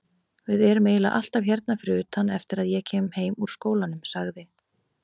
Við erum eiginlega alltaf hérna fyrir utan eftir að ég kem heim úr skólanum, sagði